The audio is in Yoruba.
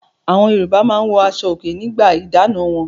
Awọn Yorùbá máa ń wọ aṣọòkè nígbà ìdáná wọn.